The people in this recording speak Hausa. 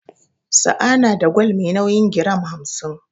Sa'a na da gwal me nauyin giram hamsin.